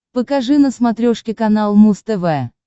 покажи на смотрешке канал муз тв